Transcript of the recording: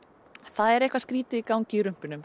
það er eitthvað skrýtið í gangi í